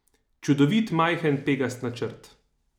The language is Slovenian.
Čudovit, majhen, pegast načrt.